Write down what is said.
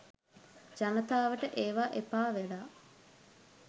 ජනතාවට ඒවා එපා වෙලා.